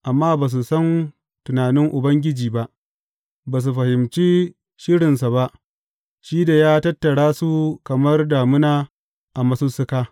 Amma ba su san tunanin Ubangiji ba; ba su fahimci shirinsa ba, shi da ya tattara su kamar dammuna a masussuka.